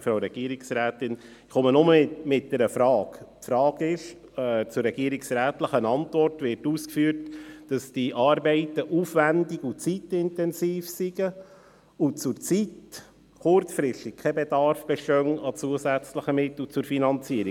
dieses lautet: In der regierungsrätlichen Antwort wird ausgeführt, die Arbeiten seien aufwendig und zeitintensiv, und zurzeit bestehe kurzfristig kein Bedarf an zusätzlichen Mitteln zur Finanzierung.